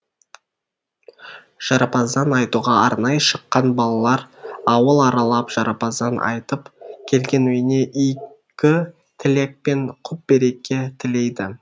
жарапазан айтуға арнайы шыққан балалар ауыл аралап жарапазан айтып келген үйіне игі тілек пен құт береке тілейді